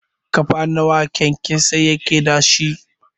Ƙafa nawa kyankyasai suke dashi?